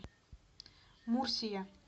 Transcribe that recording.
мурсия